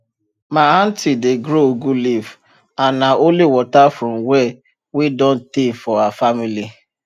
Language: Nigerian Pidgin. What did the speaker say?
my aunti dey grow ugu leaf and nah only water from well wey don tey for her family